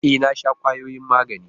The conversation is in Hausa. E, na sha kwayoyin magani.